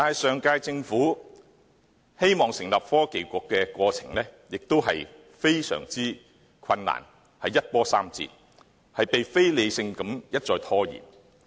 上屆政府希望成立創新及科技局的過程非常困難，一波三折，被非理性地一再拖延。